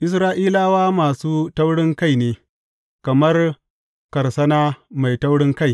Isra’ilawa masu taurinkai ne, kamar karsana mai taurinkai.